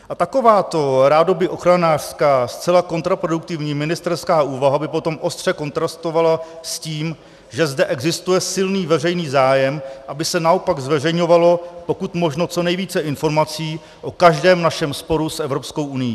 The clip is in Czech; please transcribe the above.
A takováto rádoby ochranářská zcela kontraproduktivní ministerská úvaha by potom ostře kontrastovala s tím, že zde existuje silný veřejný zájem, aby se naopak zveřejňovalo pokud možno co nejvíce informací o každém našem sporu s Evropskou unií.